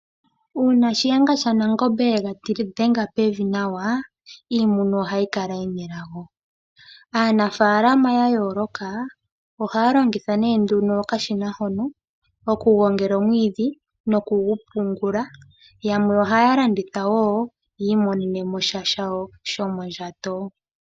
Uuna Shiyenga shaNangombe yega dhenga pevi nawa , iimuna ohayi kala yina elago . Aanafaalama yayooloka ohaya longitha nduno okashina hono okugongela omwiidhi nokugu pungula. Yamwe ohaya landitha woo yiimonenemo sha shomondjato.